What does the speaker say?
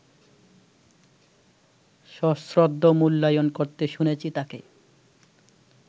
সশ্রদ্ধ মূল্যায়ন করতে শুনেছি তাঁকে